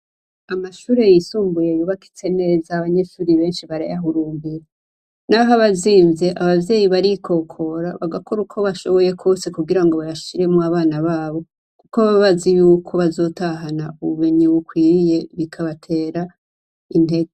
Amashure yisumbuye yubakitse neza, benshi barayaruhumbira. Naho aba azimvye abavyeyi barikokora bagakora uko bashoboye kwose kugira ngo bayashiremwo abana babo. Kuko baba bazi yuko bazotahana ubumenyi bukwiye. Bikabatera intege.